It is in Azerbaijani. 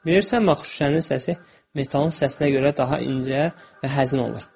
Bilirsənmi axı şüşənin səsi metalın səsinə görə daha incə və həzin olur?